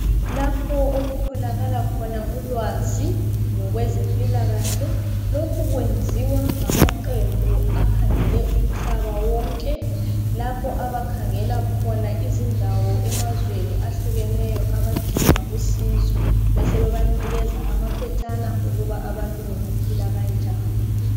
Lapho okutholakala khona ulwazi ngokwezempilakahle. Lokhu kwenziwa ngamaqembu akhangele umhlaba wonke, lapho abakhangela khona izindawo emazweni ahlukeneyo abadinga usizo besebebanikeza amaphetshana okuba abantu bengaphila kanjani.